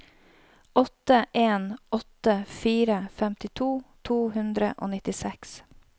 åtte en åtte fire femtito to hundre og nittiseks